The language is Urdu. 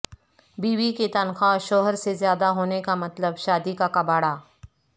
بیوی کی تنخواہ شوہر سے زیادہ ہونے کا مطلب شادی کا کباڑہ